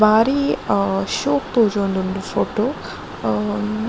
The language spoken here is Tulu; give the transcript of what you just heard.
ಬಾರಿ ಅಹ್ ಶೋಕು ತೋಜೊಂದುಂಡು ಫೊಟೊ ಅಹ್ --